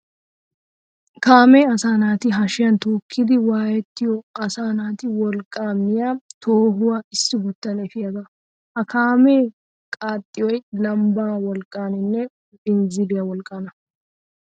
Kaamee asaa naati hashiyan tookkidi wwaayettiyo asaa naati wolqqaa miya toohuwa issiguttan efiyaga. Ha kaamee qaaxxiyoy lambbaa wolqqaninne binzziliya wolqqaana.